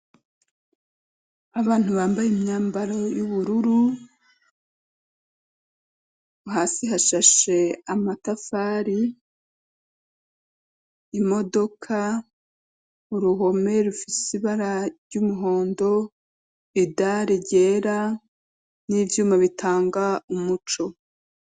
Abantu bambaye imyambaro y'ubururu hasi hashashe amatafari imodoka uruhome rufise ibara ry'umuhondo idari ryera n'ivyuma bitanga umuco.